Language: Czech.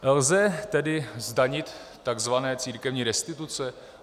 Lze tedy zdanit tzv. církevní restituce?